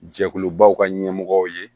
Jɛkulubaw ka ɲɛmɔgɔw ye